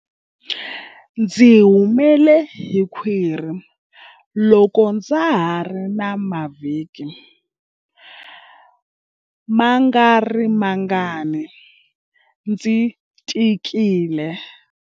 Ndzi humele hi khwiri loko ndza ha ri na mavhiki mangarimangani ndzi tikile.